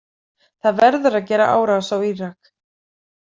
Það verður að gera árás á Írak.